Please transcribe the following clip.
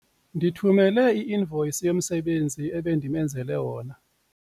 Ndithumele i-invoyisi yomsebenzi endimenzele wona.